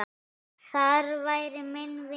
Þar væri minni vindur.